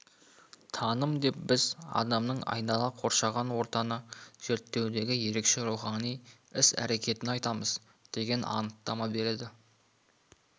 таным деп біз адамның айнала қоршаған ортаны зерттеудегі ерекше рухани іс-әрекетін айтамыз деген анықтама береді